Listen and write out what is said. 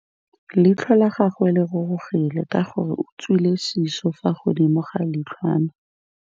Leitlhô la gagwe le rurugile ka gore o tswile sisô fa godimo ga leitlhwana.